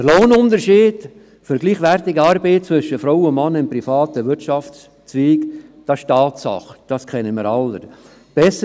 Der Lohnunterschied für gleichwertige Arbeit zwischen Frau und Mann im privaten Wirtschaftszweig ist eine Tatsache, das ist uns allen bekannt.